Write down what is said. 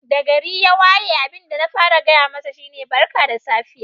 Da gari ya waye abin da na fara gaya masa shi ne Barka da safiya.